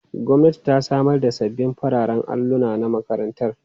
Gwamnati ta samar da sabbin fararen alluna na makarantar.